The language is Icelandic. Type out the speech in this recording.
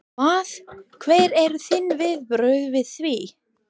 Hvað, hver eru þín viðbrögð við því?